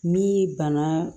Ni bana